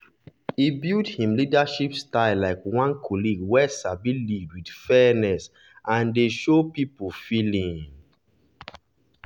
e build him leadership style like one colleague wey sabi lead with fairness and dey show people feeling.